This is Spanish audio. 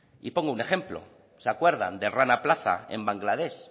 y pongo un ejemplo se acuerdan de rana plaza en bangladesh